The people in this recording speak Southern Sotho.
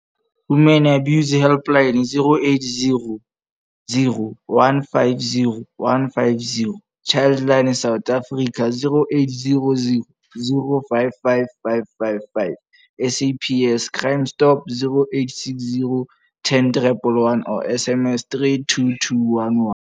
Women Abuse Helpline - 0800 150 150. Childline South Africa - 0800 055 555. SAPS Crime Stop - 0860 10111 or SMS 32211.